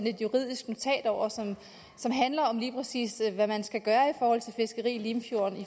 et juridisk notat over som lige præcis handler hvad man skal gøre i forhold til fiskeri i limfjorden